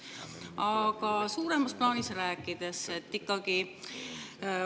Aga suuremat plaani.